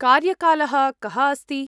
कार्यकालः कः अस्ति?